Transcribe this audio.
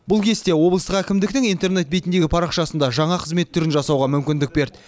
бұл кесте облыстық әкімдіктің интернет бетіндегі парақшасында жаңа қызмет түрін жасауға мүмкіндік берді